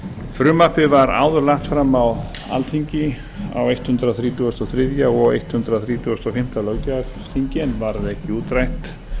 frumvarpið var áður lagt fram á alþingi á hundrað þrítugasta og þriðja og hundrað þrítugasta og fimmta löggjafarþingi en varð ekki útrætt